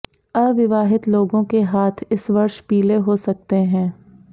अविवाहित लोगों के हाथ इस वर्ष पीले हो सकते हैं